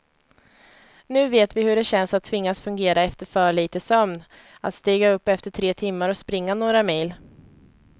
Nu vet vi hur det känns att tvingas fungera efter för lite sömn, att stiga upp efter tre timmar och springa några mil.